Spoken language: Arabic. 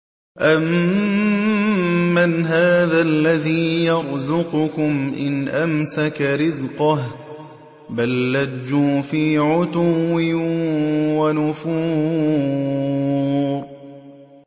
أَمَّنْ هَٰذَا الَّذِي يَرْزُقُكُمْ إِنْ أَمْسَكَ رِزْقَهُ ۚ بَل لَّجُّوا فِي عُتُوٍّ وَنُفُورٍ